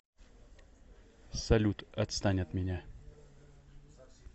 салют отстань от меня